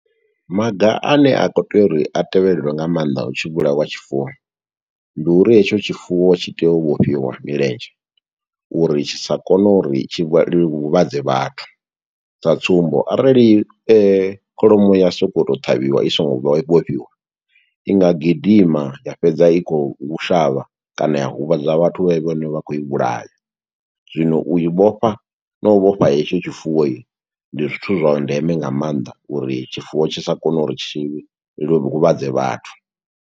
Maga ane a khou tea uri a tevheleliwe nga maanḓa hu tshi vhulawa tshifuwo, ndi uri hetsho tshifuwo tshi tea u vhofhiwa milenzhe, uri tshi sa kone uri tshi vha huvhadze vhathu. Sa tsumbo, arali kholomo ya sokoto ṱhavhiwa i songo vhofhiwa, i nga gidima ya fhedza i khou shavha, kana ya huvhadza vhathu vhe vhene vha khou i vhulaya. Zwino uyi vhofha na u vhofha hetsho tshifuwo i, ndi zwithu zwa ndeme nga maanḓa, uri tshifuwo tshi sa kone uri tshi huvhadze vhathu.